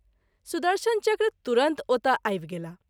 सुदर्शन चक्र तुरंत ओतए आबि गेलाह।